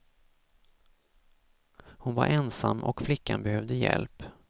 Hon var ensam och flickan behövde hjälp.